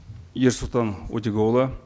ерсұлтан өтеғұлұлы